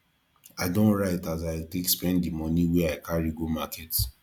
i don write as i take spend di moni wey i carry go market